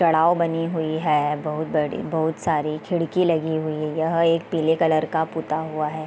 चढ़ाओ बनी हुई है बहुत बड़ी बहुत सारी खिड़की लगी हुई यह एक पीले कलर का पुता हुआ है ।